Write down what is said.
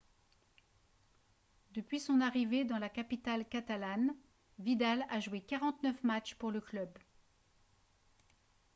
depuis son arrivée dans la capitale catalane vidal a joué 49 matchs pour le club